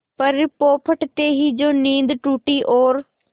पर पौ फटते ही जो नींद टूटी और